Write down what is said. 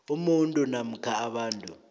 umuntu namkha abantu